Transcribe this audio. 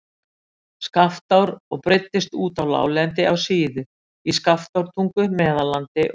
Skaftár og breiddist út á láglendi á Síðu, í Skaftártungu, Meðallandi og